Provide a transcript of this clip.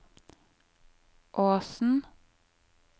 Åsen